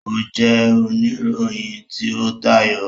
O jẹ onirohin ti o tayọ.